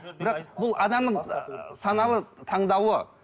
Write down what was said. бірақ бұл адамның саналы таңдауы